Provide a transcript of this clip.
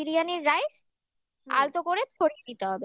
biryani rice আলতো করে ছড়িয়ে দিতে হবে ঠিক